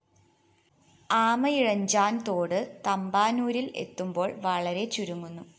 ആമയിഴഞ്ചാന്‍ തോട് തമ്പാനൂരില്‍ എത്തുമ്പോള്‍ വളരെ ചുരുങ്ങുന്നു